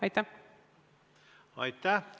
Aitäh!